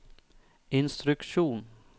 instruksjon